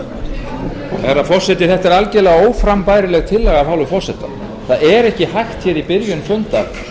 herra forseti þetta er algerlega óframbærileg tillaga af hálfu forseta það er ekki hægt í byrjun fundar